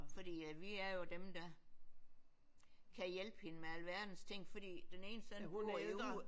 Fordi at vi er jo dem der kan hjælpe hende med alverdens ting fordi den ene søn bor jo i USA